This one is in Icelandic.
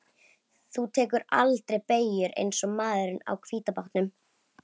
Þú tekur aldrei beygjur eins og maðurinn á hvíta bátnum.